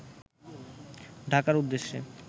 ঢাকার উদ্দেশ্যে